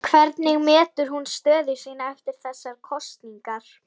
Hvernig metur hún stöðu sína eftir þessar kosningar?